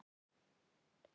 Og hvert er svarið?